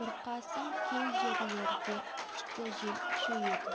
бұрқасын кей жерлерде күшті жел күшейеді